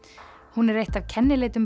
hún eitt af kennileitum